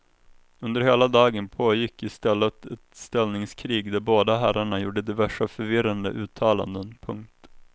Under hela dagen pågick i stället ett ställningskrig där båda herrarna gjorde diverse förvirrade uttalanden. punkt